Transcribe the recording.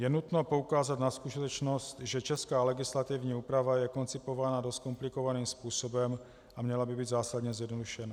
Je nutno poukázat na skutečnost, že česká legislativní úprava je koncipována dost komplikovaným způsobem a měla by být zásadně zjednodušena.